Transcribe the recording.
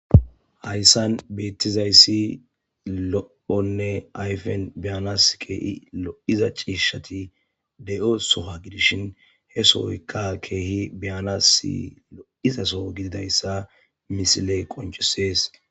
hayssan beettizayssi lo7onne ayfen beyanas keehi lo7iza ciishshati de7o sowa gidishin he sooykka keehi beyanas lo7izaso gididayssa misiley qoncesees